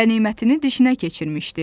Qənimətini dişinə keçirmişdi.